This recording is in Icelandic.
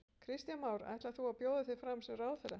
Kristján Már: Ætlar þú að bjóða þig fram sem ráðherra?